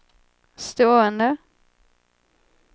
stående